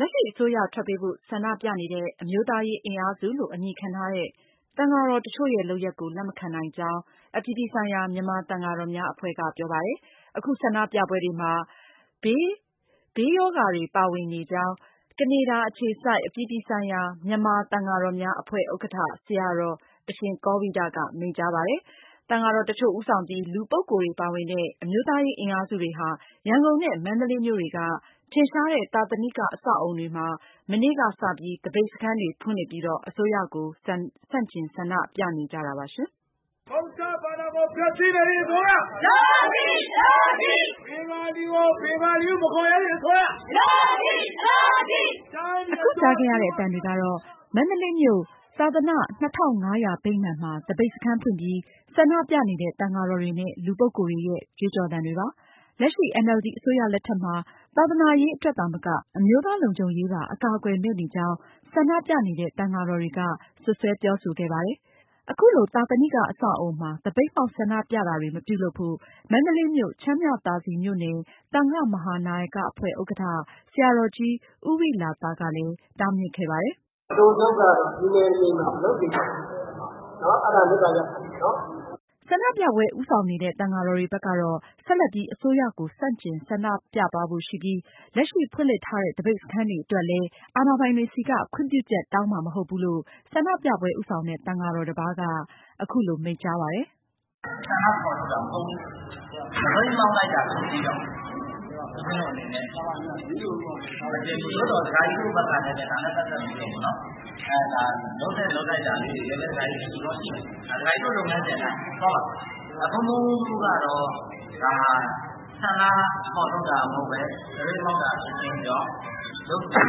လက်ရှိအစိုးရ ထွက်ပေးဖို့ ဆန္ဒပြနေတဲ့ အမျိုးသားရေး အင်အားစုလို့ အမည်ခံထားတဲ့ သံဃာတော်တချို့ရဲ့ လုပ်ရပ်ကို လက်မခံနိုင်ကြောင်း အပြည်ပြည်ဆိုင်ရာ မြန်မာ သံဃာတော်များ အဖွဲ့က ပြောပါတယ်။ အခု ဆန္ဒပြပွဲတွေမှာ ဘေးပရောဂတွေ ပါနေကြောင်း ကနေဒါ အခြေစိုက် အပြည်ပြည်ဆိုင်ရာ မြန်မာ သံဃာတော်များ အဖွဲ့ ဥက္ကဌ ဆရာတော် အရှင်ကောဝိဒက မိန့်ကြားပါတယ်။ သံဃာတော် တချို့ဦးဆောင်ပြီး လူပုဂ္ဂိုလ်တွေ ပါဝင်တဲ့ အမျိုးသားရေး အင်အားစုတွေဟာ ရန်ကုန်နဲ့ မန္တလေးမြို့တွေက ထင်ရှားတဲ့ သာသနိက အဆောက်အဦတွေမှာ မနေ့ သြဂုတ်လ ရက်နေ့က သပိတ်စခန်းတွေ ဖွင့်လှစ်ပြီး အစိုးရကို ဆန့်ကျင် ဆန္ဒပြနေကြတာပါ။ မအင်ကြင်းနိုင်က အပြည့်အစုံကို ဆက်ပြီး တင်ပြမှာပါ။ အခုကြားခဲ့ရတဲ့ အသံတွေကတော့ မန္တလေးမြို့ သာသနာ ၂၅၀၀ ဗိမာန်မှာ သပိတ်စခန်းဖွင့်ပြီး ဆန္ဒပြနေတဲ့ သံဃာတော်တွေနဲ့ လူပုဂ္ဂိုလ်တွေရဲ့ ကြွေးကြော်သံတွေပါ။ လက်ရှိ NLD အစိုးရ လက်ထက်မှာ သာသနာရေး အတွက် သာမက အမျိုးသားလုံခြုံရေးပါ အကာအကွယ်မဲ့နေကြောင်း ဆန္ဒပြနေတဲ့ သံဃာတော်တွေက စွပ်စွဲပြောဆိုခဲ့ပါတယ်။ အခုလို သာသနိက အဆောက်အဦမှာ သပိတ်မှောက် ဆန္ဒပြတာတွေ မပြုလုပ်ဖို့ မန္တလေးမြို့ချမ်းမြသာစည်မြို့နယ် သံဃမဟာနာယက အဖွဲ့ ဥက္ကဋ္ဌ ဆရာတော်ကြီး ဦးဝိလာသ ကတားမြစ်ခဲ့ပါတယ်။ “ အတိုချုပ်ကတော့ ဒီနယ်မြေမှာ မလုပ်စေချင်ပါဘူး။ အဲဒါမေတ္တာ ရပ်ခံချင်ပါတယ်နော်။ ” ဆန္ဒပြပွဲ ဦးဆောင်နေတဲ့ သံဃာတော်တွေ ဘက်ကတော့ ဆက်လက်ပြီး အစိုးရကို ဆန့်ကျင် ဆန္ဒပြသွားဖို့ ရှိပြီး လက်ရှိ ဖွင့်လှစ်ထားတဲ့ သပိတ်စခန်းတွေ အတွက်လည်း အာဏာပိုင်တွေဆီက ခွင့်ပြုချက် တောင်းမှာ မဟုတ်ဘူးလို့ ဆန္ဒပြပွဲ ဦးဆောင်တဲ့ သံဃာတပါးက အခုလို မိန့်ကြားပါတယ်။ “ ဆန္ဒဖေါ်ထုတ်တာ မဟုတ်ဘူး။ သပိတ်မှောက်လိုက်တာ ဖြစ်ပြီးတော့ ဦးဇင်းတို့ အနေနဲ့ မတင်ဘူး။ သို့သော် ဒကာကြီးတို့ ဘက်ကနေပြီးတော့ ဒါနဲ့ ပတ်သက်ပြီးတော့ ပေါ့နော် ဒါလုပ်သင့်လုပ်ထိုက်တာလေးတွေ လည်းပဲ ရှိကောင်းရှိမယ်။ ဒါ ဒကာကြီးတို့ လုပ်ငန်းစဉ် အတိုင်း သွားပါ။ ဘုန်းဘုန်းတို့ ကတော့ ဒါဟာ ဆန္ဒဖေါ်ထုတ်တာ မဟုတ်ဘဲ သပိတ်မှောက်တာ ဖြစ်ခြင်းကြောင့် လုပ်စဉ်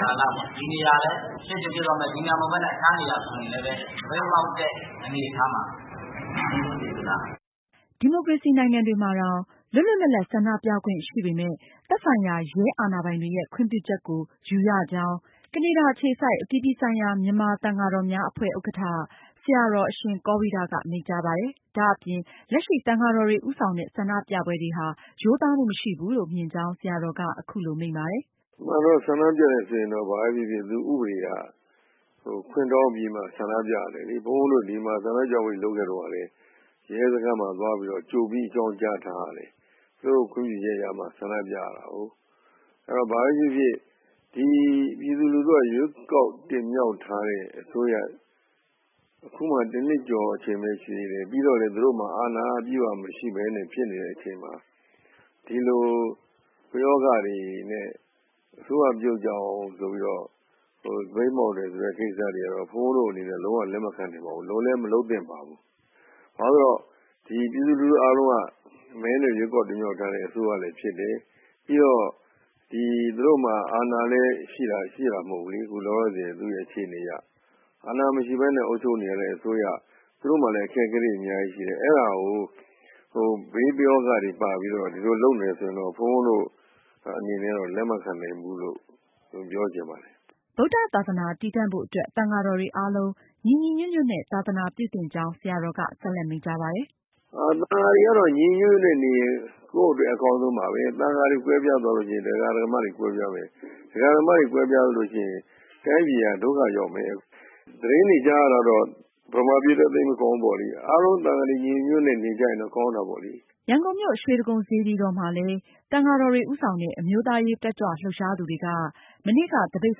ကာလပေါ့ ဒီနေရာလည်း ဖြစ်ချင်ဖြစ်သွားမယ်။ ဒီနေရာမဟုတ်ဘဲ တခြားနေရာ ဆိုရင်လည်း သပိတ်မှောက်တဲ့ အနေအထားမှာ စီစဉ်မှာပဲ။” ဒီမိုကရေစီ နိုင်ငံတွေမှာတောင် လွတ်လွတ်လပ်လပ် ဆန္ဒပြခွင့် ရှိပေမယ့် သက်ဆိုင်ရာ ရဲအာဏာပိုင်တွေရဲ့ ခွင့်ပြုချက်ကို ယူရကြောင်း ကနေဒါအခြေစိုက် အပြည်ပြည်ဆိုင်ရာ မြန်မာ သံဃာတော်များ အဖွဲ့ ဥက္ကဌ ဆရာတော် အရှင်ကောဝိဒက မိန့်ကြားပါတယ်။ ဒါ့အပြင် လက်ရှိ သံဃာတော်တွေ ဦးဆောင်တဲ့ ဆန္ဒပြပွဲတွေဟာ ရိုးသားမှု မရှိဘူးလို့ မြင်ကြောင်း ဆရာတော်က အခုလို မိန့်ပါတယ်။ “ အမှန်တော့ ဆန္ဒပြတယ် ဆိုရင်တော့ ဘာပဲဖြစ်ဖြစ် သူ့ဥပဒေက ခွင့်တောင်းပြီးမှ ဆန္ဒပြရတယ်လေ။ ဘုန်းဘုန်းတို့ ဒီမှာ ဆန္ဒပြပွဲတွေ လုပ်ခဲ့တုန်း ကလည်း ရဲစခန်းမှာ ကြိုပြီးတော့ အကြောင်းကြား ထားရတယ်။ သူတို့ ခွင့်ပြုချက်ရမှ ဆန္ဒပြရတာကိုး။ အဲတော့ ဘာပဲဖြစ်ဖြစ် ဒီပြည်သူလူထုက ရွေးကောက် တင်မြှောက် ထားတဲ့အစိုးရ၊ အခုမှ တနှစ်ကျော် အချိန်ပဲရှိသေးတယ်။ ပြီးတော့လည်း သူတို့မှာ အာဏာက အပြည့်အဝမရှိဘဲနဲ့ ဖြစ်နေတဲ့ အချိန်မှာ ဒီလို ပယောဂတွေနဲ့ အစိုးရ ပြုတ်ကျအောင် ဆိုပြီးတော့ သပိတ်မှောက်တယ် ဆိုတဲ့ ကိစ္စတွေကတော့ ဘုန်းဘုန်းတို့အနေနဲ့ လုံး၀ လက်မခံနိုင်ပါဘူး။ လုပ်လည်း မလုပ်သင့်ပါဘူး။ ဘာလို့လည်း ဆိုတော့ ပြည်သူလူထု အားလုံးက မဲနဲ့ တင်မြှောက်ထားတဲ့ အစိုးရလည်း ဖြစ်တယ်။ ပြီးတော့ ဒီသူတို့မှာ အာဏာလည်း ရှိတာ မဟုတ်ဘူးလေ။ အခု လောလောဆယ် အခြေအနေအရ အာဏာမရှိဘဲနဲ့ အုပ်ချုပ်နေရတဲ့ အစိုးရ။ သူတို့မှာလည်း အခက်အခဲတွေ အများကြီးရှိတယ်။ အဲဒါကို ဟို ဘေးပယောဂတွေ ပါပြီးတော့ ဒီလို လုပ်နေတယ် ဆိုရင်တော့ ဘုန်းဘုန်းတို့ အနေနဲ့တော့ လက်မခံနိုင်ဘူးလို့ ပြောချင်ပါတယ်။” ဗုဒ္ဓသာသနာ တည်တံ့ဖို့ အတွက် သံဃာတော်တွေ အားလုံး ညီညီညွတ်ညွတ်နဲ့ သာသနာပြုသင့်ကြောင်း ဆရာတော်က ဆက်လက်မိန့်ကြားပါတယ်။ “ သံဃာတွေကတော့ ညီညီညွတ်ညွတ်နဲ့နေရင် ကိုယ့်အတွက် အကောင်းဆုံးပါပဲ။ သံဃာတွေ ကွဲပြားရင် ဒကာဒကာမတွေ ကွဲပြားမယ်။ ဒကာဒကာမတွေ ကွဲပြားလို့ရှိရင် တိုင်းပြည်က ဒုက္ခရောက်မယ်။ သတင်းတွေ ကြားရတာကတော့ ဗမာပြည်လည်း သိပ်မကောင်းဘူး ပေါ့လေ။ အားလုံး သံဃာတွေ ညီညီညွတ်ညွတ်နဲ့ နေကြရင်တော့ ကောင်းတာပေါ့လေ။” ရန်ကုန်မြို့ရွှေတိဂုံစေတီတော်မှာလည်း သံဃာတော်တွေ ဦးဆောင်တဲ့ အမျိုးသားရေး တက်ကြွလှုပ်ရှားသူတွေက မနေ့က သပိတ်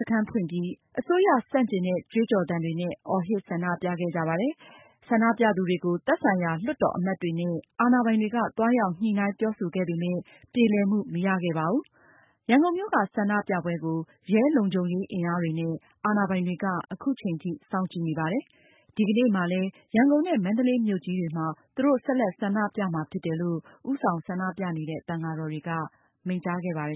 စခန်းဖွင့်ပြီး အစိုးရဆန့်ကျင်တဲ့ ကြွေးကြော်သံတွေ အော်ဟစ် ဆန္ဒပြခဲ့ကြပါတယ်။ ဆန္ဒပြသူတွေကို သက်ဆိုင်ရာ လွှတ်တော်အမတ်တွေနဲ့ အာဏာပိုင်တွေက သွားရောက် ညှိုနှိုင်းပြောဆိုခဲ့ပေမယ့် ပြေလည်မှု မရသေးပါဘူး။ ရန်ကုန်မြို့က ဆန္ဒပြပွဲကို ရဲလုံခြုံရေး အင်အားတွေနဲ့ အာဏာပိုင်တွေက အခုချိန်ထိ စောင့်ကြည့်နေပါတယ်။ ဒီကနေ့မှာလည်း ရန်ကုန်နဲ့ မန္တလေးမြို့ကြီးတွေမှာ သူတို့ ဆက်လက် ဆန္ဒပြမှာ ဖြစ်တယ်လို့ ဦးဆောင်ဆန္ဒပြတဲ့ သံဃာတော်တွေက မိန့်ကြားခဲ့ပါတယ်